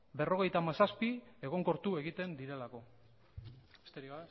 berrogeita hamazazpi egonkortu egiten direlako besterik